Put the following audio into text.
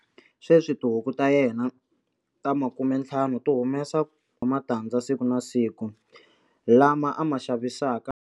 Sweswi tihuku ta yena ta 50 ti humesa 50 wa matandza siku na siku, lama a ma xavisaka.